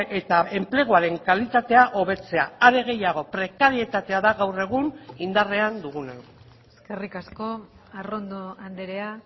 eta enpleguaren kalitatea hobetzea are gehiago prekaritatea da gaur egun indarrean duguna eskerrik asko arrondo andrea